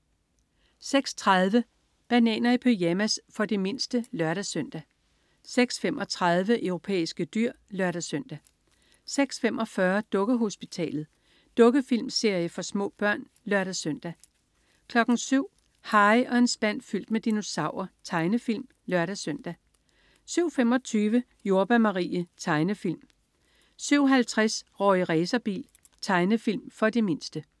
06.30 Bananer i pyjamas. For de mindste (lør-søn) 06.35 Europæiske dyr (lør-søn) 06.45 Dukkehospitalet. Dukkefilmserie for små børn (lør-søn) 07.00 Harry og en spand fyldt med dinosaurer. Tegnefilm (lør-søn) 07.25 Jordbær Marie. Tegnefilm 07.50 Rorri Racerbil. Tegnefilm for de mindste